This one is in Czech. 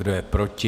Kdo je proti?